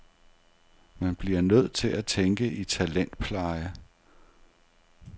Man bliver nødt til at tænke i talentpleje.